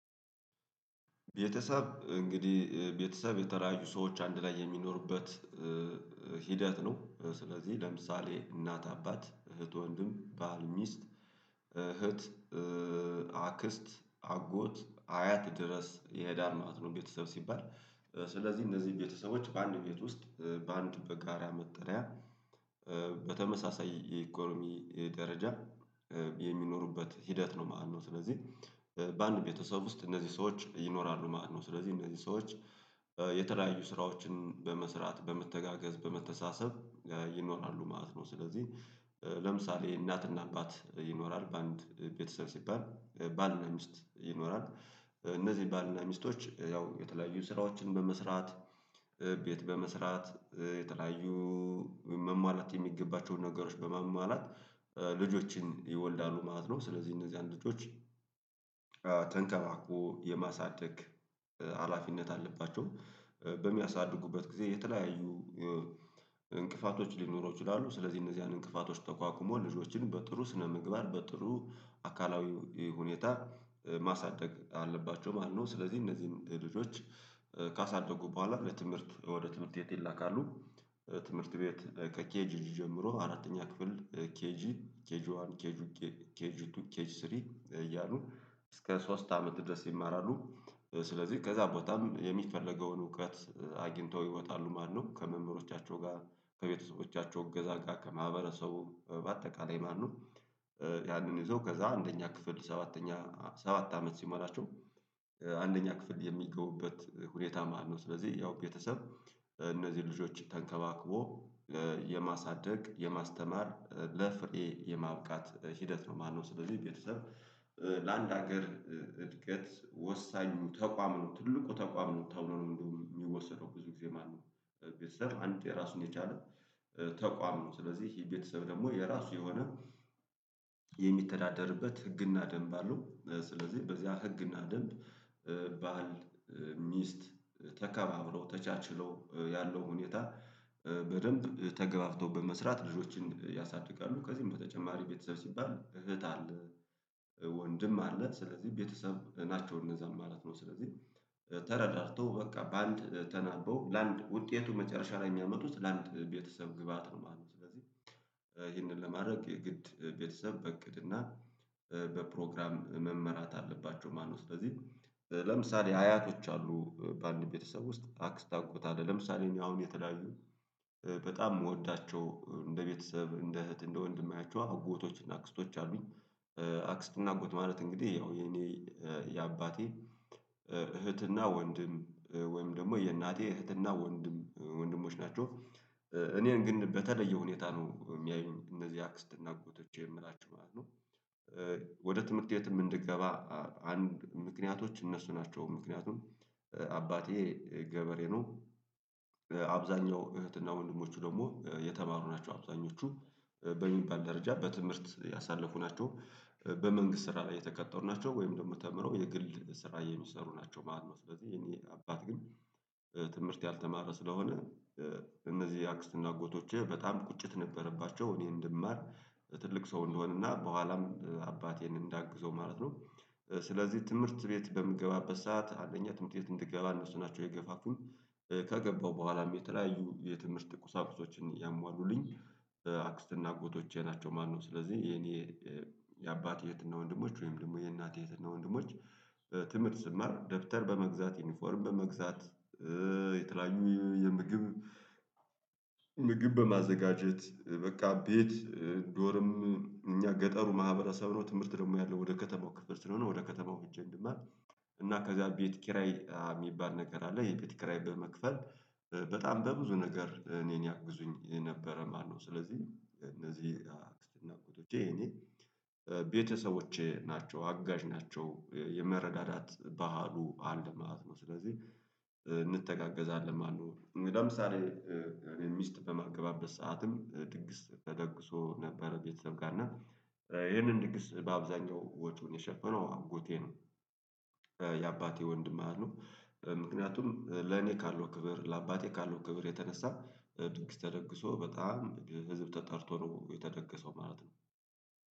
ቤተሰብ እንግዲህ ቤተሰብ የተራያዩ ሰዎች አንድ ላይ የሚኖሩበት ሂደት ነው። ስለዚህ ለምሳሌ እናት አባት እህት ወንድም ባህል ሚስት እህት አክስት አጎት አያት ድረስ ይሄዳል ማለት ነው። ቤተሰብ ሲባል ስለዚህ እነዚህ ቤተሰቦች በአንድ ቤት ውስጥ በአንድ በጋራ መጠሪያ በተመሳሳይ የኢኮኖሚ ደረጃ የሚኖሩበት ሂደት ነው። ማለነው ስለዚህ በአንድ ቤተሰብ ውስጥ እነዚህ ሰዎች ይኖራሉ ማለት ነው። ስለዚህ እነዚህ ሰዎች የተለያዩ ስራዎችን በመስራት በመተጋገዝ በመተሳሰብ ይኖራሉ ማለት ነው። ስለዚህ ለምሳሌ እናትና አባት ይኖራል በአንድ ቤተሰብ ሲባል ባልና ሚስት ይኖራል እነዚህ ባልና ሚስቶች ያው የተለያዩ ስራዎችን በመስራት ቤት በመስራት የተለያዩ መሟላት የሚገባቸውን ነገሮች በማሟላት ልጆችን ይወልዳሉ ማለት ነው። ስለዚህ እነዚያን ልጆች ተንከባክቦ የማሳደግ ሀላፊነት አለባቸው። በሚያሳድጉበት ጊዜ የተለያዩ እንቅፋቶች ሊኖሩ ይችላሉ ስለዚህ እነዚያን እንቅፋቶች ተቋቁሞ ልጆችን በጥሩ ስነምግባር በጥሩ አካላዊ ሁኔታ ማሳደግ አለባቸው ማለት ነው። ስለዚህ እነዚህን ልጆች ካሳደጉ በኋላ ለትምህርት ወደ ትምህርት ቤት ይላካሉ። ትምህርት ቤት ከኬጂ ጀምሮ አራተኛ ክፍል ኬጂ ኬጂ ዋን ኬጂ ኬጂ ቱ ኬጂ ስሪ እያሉ እስከ ሶስት አመት ድረስ ይማራሉ። ስለዚህ ከዛ ቦታም የሚፈለገውን እውቀት አግኝተው ይወጣሉ ማለነው ከመምህሮቻቸው ጋር ከቤተሰቦቻቸው እገዛ ጋር ከማህበረሰቡ በአጠቃላይ ማለነው። ያንን ይዘው ከዛ አንደኛ ክፍል ሰባተኛ ሰባት አመት ሲሞላቸው አንደኛ ክፍል የሚገቡበት ሁኔታ መሃል ነው። ስለዚህ ያው ቤተሰብ እነዚህ ልጆች ተንከባክቦ የማሳደግ የማስተማር ለፍሬ የማብቃት ሂደት ነው ማለነው። ስለዚህ ቤተሰብ ለአንድ ሀገር እድገት ወሳኙ ተቋም ነው ትልቁ ተቋም ነው ተብሎ ነው የሚወሰደው ብዙ ጊዜ ማለት ነው። ቤተሰብ አንተ የራሱን የቻለ ተቋም ነው። ስለዚህ የቤተሰብ ደግሞ የራሱ የሆነ የሚተዳደርበት ህግና ደንብ አለው። ስለዚህ በዚያ ህግና ደንብ ባል ሚስት ተከባብሮ ተቻችሎ ያለው ሁኔታ በደንብ ተገብባቶ በመስራት ልጆችን ያሳድጋሉ። ከዚህም በተጨማሪ ቤተሰብ ሲባል እህት አለ ወንድም አለ ስለዚህ ቤተሰብ ናቸው እነዛም ማለት ነው። ስለዚህ ተረዳድቶ በቃ በአንድ ተናበው ለአንድ ውጤቱ መጨረሻ ላይ ሚያመጡት ለአንድ ቤተሰብ ግብአት ነው ማለነው። ስለዚህ ይህንን ለማድረግ የግድ ቤተሰብ በእቅድ እና በፕሮግራም መመራት አለባቸው ማለነው። ስለዚህ ለምሳሌ አያቶች አሉ በአንድ ቤተሰብ ውስጥ አክስት አጎት አለ ለምሳሌ እኛ አሁን የተለያዩ በጣም የምወዳቸው እንደ ቤተሰብ እንደ እህት እንደ ወንድም ማያቸው አጎቶች እና አክስቶች አሉኝ። አክስት እና አጎት ማለት እንግዲህ ያው የኔ የአባቴ እህትና ወንድም ወይም ደግሞ የእናቴ እህትና ወንድም ወንድሞች ናቸው። እኔን ግን በተለየ ሁኔታ ነው የሚያዩኝ እነዚህ አክስትና አጎቶቼ የምላችው ማለት ነው። ወደ ትምህርት ቤት እንድገባ አንድ ምክንያቶች እነሱ ናቸው። ምክንያቱም አባቴ ገበሬ ነው። አብዛኛው እህትና ወንድሞቹ ደግሞ የተማሩ ናቸው። አብዛኞቹ በሚባል ደረጃ በትምህርት ያሳለፉ ናቸው። በመንግስት ስራ ላይ የተቀጠሩ ናቸው ወይም ደግሞ ተምረው የግል ስራ የሚሰሩ ናቸው ማለት ነው። ስለዚህ የእኔ አባት ግን ትምህርት ያልተማረ ስለሆነ እነዚህ አክስትና አጎቶቼ በጣም ቁጭት ነበረባቸው እኔ እንድማር ትልቅ ሰው እንደሆነና በኋላም አባቴን እንዳግዘው ማለት ነው። ስለዚህ ትምህርት ቤት በምገባበት ሰዓት አንደኛ ትምህርት ቤት እንድገባ እነሱናቸው የገፋፉኝ። ከገባው በኋላም የተለያዩ የትምህርት ቁሳቁሶችን ያሟሉልኝ አክስትና አጎቶቼ ናቸው። ማለነው። ስለዚህ የኔ የአባቴ እህትና ወንድሞች ወይም ደግሞ የእናቴ እህትና ወንድሞች ትምህርት ስማር ደብተር በመግዛት ዩኒፎርም በመግዛት የተለያዩ የምግብ ምግብ በማዘጋጀት በቃ ቤት ዶርም እኛ ገጠሩ ማህበረሰቡ ሳይሆን ትምህርት ደግሞ ያለው ወደ ከተማው ክፍል ስለሆነ ወደ ከተማው እጅ እንድማር እና ከዛ ቤት ኪራይ የሚባል ነገር አለ የቤት ኪራይ በመክፈል በጣም በብዙ ነገር እኔን ያግዙኝ የነበረ ማለነው ስለዚህ እነዚህ አክስትና ቁጥጥር የኔ ቤተሰቦቼ ናቸው። አጋዥ ናቸው የመረዳዳት ባህሉ አለ ማለት ነው። ስለዚህ እንተጋገዛለን ማለነው። ለምሳሌ እኔ ሚስት በማገባበት ሰዓትም ድግስ ተደግሶ ነበረ ቤተሰብ ጋር እና ይህንን ድግስ በአብዛኛው ወጩን የሸፈነው አጎቴ ነው። የአባቴ ወንድም ማለነው ምክንያቱም ለኔ ካለው ክብር ለአባቴ ካለው ክብር የተነሳ ድግስ ተደግሶ በጣም ህዝብ ተጠርቶ ነው የተደገሰው ማለት ነው።